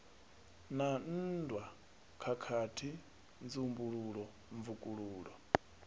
na nndwa khakhathi nzumbululo mvukululo